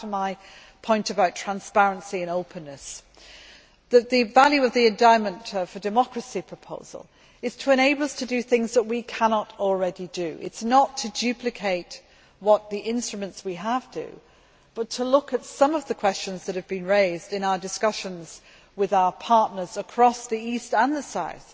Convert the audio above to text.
Coming back to my point about transparency and openness, the value of the Endowment for Democracy proposal is to enable us to do things that we cannot already do. It is not to duplicate what the instruments that we have do, but to look at some of the questions that have been raised in our discussions with our partners across the east and the south.